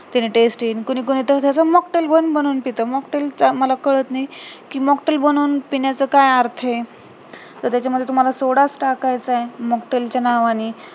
त्याने taste येईल कोणी कोणी तर त्याचा mocktail पण बनून पीत mocktail चा मला कळत नाही कि mocktail बनवून पिण्याचा काय अर्थ आहे तर त्याच्या मध्ये तुम्हाला सोडाच टाकायचा आहे mocktail च्या नावानी